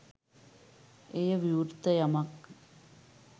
එය විවෘත යමක්,